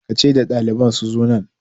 Ki ce da daliban su zo nan!